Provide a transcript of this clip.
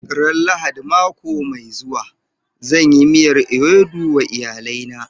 Ran Lahadin mako mai zuwa, zan yi miyar ewedu wa iyalina.